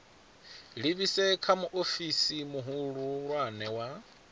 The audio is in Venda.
livhise kha muofisi muhulwane wa